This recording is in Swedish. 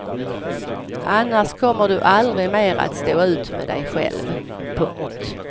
Annars kommer du aldrig mer att stå ut med dig själv. punkt